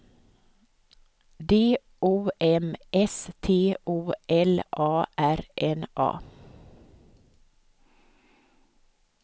D O M S T O L A R N A